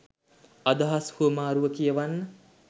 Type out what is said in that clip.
අදහස් හුමාරුව කියවන්න.